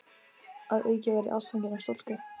Að auki varð ég ástfanginn af stúlku.